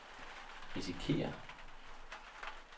risikerer